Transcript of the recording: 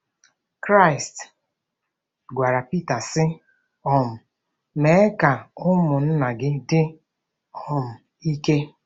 Kraịst gwara Pita, sị: “ um Mee ka ụmụnna gị dị um ike.